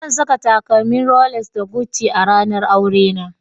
Zan sa takalmin Rolex da Gucci a ranar aurena